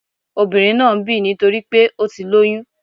Obìnrin náà ń bì nítorípé ó ti lóyún